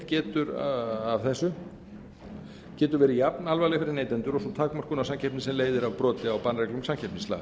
getur af þessu getur verið jafnalvarleg fyrir neytendur og sú takmörkun á samkeppni sem leiðir af broti á bannreglum samkeppnislaga